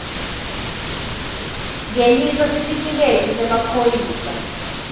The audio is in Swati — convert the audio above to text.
ngenisa sitifiketi semaphoyisa